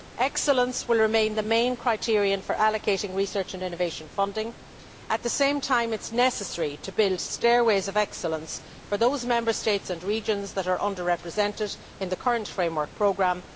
Excellence will remain the main criterion for allocating research and innovation funding. At the same time it is necessary to build stairways of excellence for those Member States and regions that are under represented in the current framework programme.